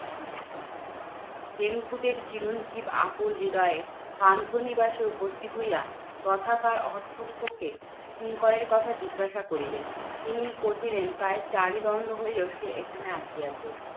হেমকূটের চিরঞ্জিব আকুল হৃদয়ে পান্থ নিবাসে উপস্থিত হইয়া, তথাকার অধ্যক্ষকে কিঙ্করের কথা জিজ্ঞাসা করিলেন। তিনি কহিলেন, প্রায় চারি দণ্ড হইলো সে এখানে আসিয়াছে?